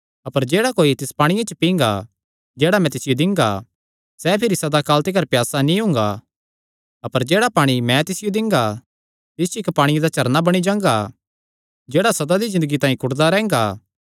अपर जेह्ड़ा कोई तिस पांणिये च पींगा जेह्ड़ा मैं तिसियो दिंगा सैह़ भिरी सदा काल तिकर प्यासा नीं हुंगा अपर जेह्ड़ा पाणी मैं तिसियो दिंगा तिस च इक्क पांणिये दा झरना बणी जांगा जेह्ड़ा सदा दी ज़िन्दगी तांई कुढदा रैंह्गा